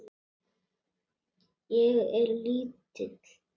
Ég er lítil.